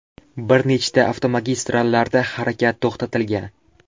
Bir nechta avtomagistrallarda harakat to‘xtatilgan.